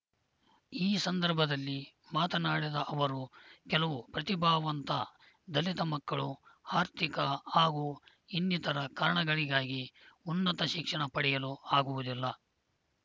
ಈ ಸಂದರ್ಭದಲ್ಲಿ ಮಾತನಾಡದ ಅವರು ಕೆಲವು ಪ್ರತಿಭಾವಂತ ದಲಿತ ಮಕ್ಕಳು ಆರ್ಥಿಕ ಹಾಗೂ ಇನ್ನಿತರ ಕಾರಣಗಳಿಗಾಗಿ ಉನ್ನತ ಶಿಕ್ಷಣ ಪಡೆಯಲು ಆಗುವುದಿಲ್ಲ